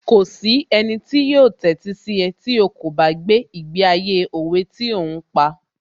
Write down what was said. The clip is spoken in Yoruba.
Kò sí ẹnì tí yóò tẹ́sí sí ẹ tí ó kò bá gbé ìgbé ayé òwe tí ò ń pa